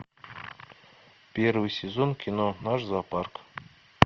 первый сезон кино наш зоопарк